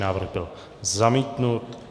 Návrh byl zamítnut.